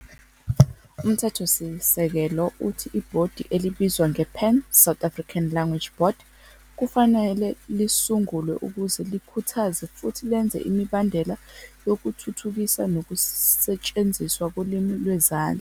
UMthethosisekelo uthi ibhodi elibizwa ngePan South African Language Board kufanele lisungulwe ukuze "likhuthaze, futhi lenze imibandela, yokuthuthukisa nokusetshenziswa kolimi lwezandla".